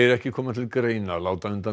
ekki koma til greina að láta undan